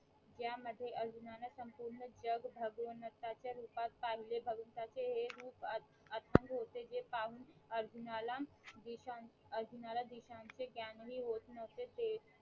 ह्या मध्ये अर्जुनान संपूर्ण जग भगवंताचे रूपात पहिले भगवंताचे हे रूप अथ अथांग होते जे पाहून अर्जुनाला दिशां अर्जुनाला दिशांचे ज्ञानहि होत नव्हते